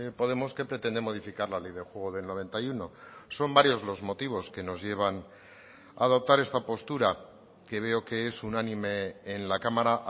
podemos que pretende modificar la ley del juego del noventa y uno son varios los motivos que nos llevan a adoptar esta postura que veo que es unánime en la cámara